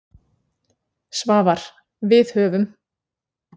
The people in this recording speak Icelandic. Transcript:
Svavar: Við höfum.